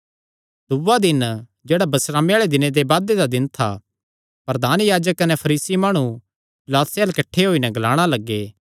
दूआ दिन जेह्ड़ा बिस्रामे आल़े दिन दे बाद दा दिन था प्रधान याजक कने फरीसी माणु पिलातुसे अल्ल किठ्ठे होई नैं ग्लाणा लग्गे